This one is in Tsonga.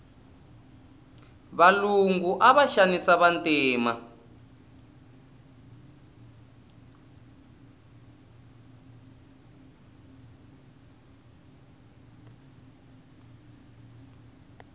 valungu ava xanisa vantima